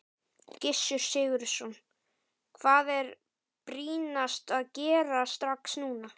Gissur Sigurðsson: Hvað er brýnast að gera strax núna?